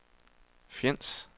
Fjends